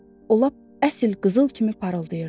O lap əsl qızıl kimi parıldayırdı.